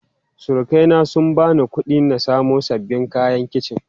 Surukai na sun bani kuɗi in samo sababbin kayan kici.